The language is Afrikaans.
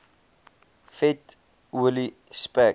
vet olie spek